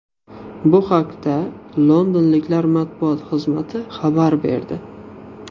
Bu haqda londonliklar matbuot xizmati xabar berdi .